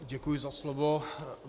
Děkuji za slovo.